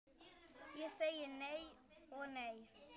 Ég segi nei og nei.